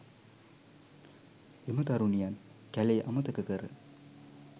එම තරුණියන් කැළේ අමතක කර